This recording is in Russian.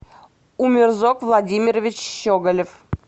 умерзок владимирович щеголев